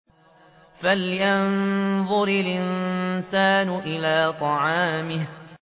فَلْيَنظُرِ الْإِنسَانُ إِلَىٰ طَعَامِهِ